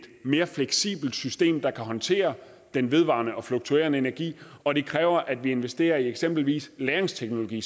mere fleksibelt system der kan håndtere den vedvarende og fluktuerende energi og det kræver at vi investerer i eksempelvis lagringsteknologi